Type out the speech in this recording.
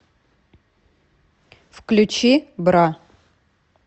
включи бра